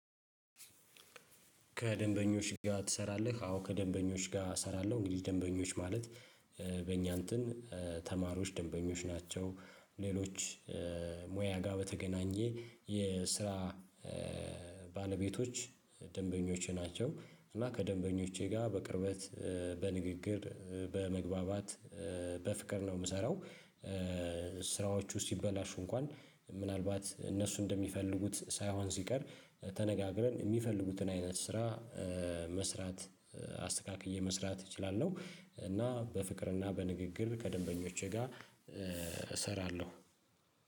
ከደንበኞች ጋር ትሰራለህ? አዎ ከደንበኞች ጋር እሰራለሁ እንግዲህ ደንበኞች ማለት በኛ እንትን ተማሪዎች ደንበኞች ናቸው። ሌሎች ሙያ ጋር በተገናኘ የስራ ባለቤቶች ደንበኞቼ ናቸው። እና ከደንበኞቼ ጋር በቅርበት በንግግር በመግባባት በፍቅር ነው የምሰራው። ስራዎቹ ሲበላሹ እንኳን ምናልባት እነሱ እንደሚፈልጉት ሳይሆን ሲቀር ተነጋግረን የሚፈልጉትን አይነት ስራ መስራት አስተካክዬ መስራት እችላለሁ። እና በፍቅርና በንግግር ከደንበኞቼ ጋር እሰራለሁ